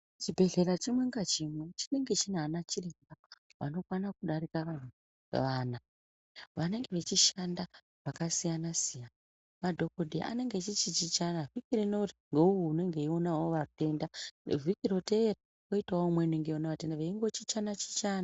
Chibhehlera chimwe ngachimwe chinenga chinaana chiremba vanokwana kudarika vana, vanenge vechishanda pakasiyana-siyana. Madhokodheya anenge echichichichana, vhiki rinori ngeuwu unenge eionawo vatenda, vhiki roteera kwoitawo umweni weiona vatenda, veingochichana-chichana.